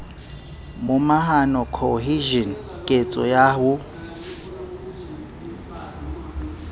momahano cohesion ketso ya ho